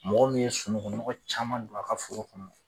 Mɔgɔ min ye sunɔgɔngɔ caman don a ka foro kɔnɔ.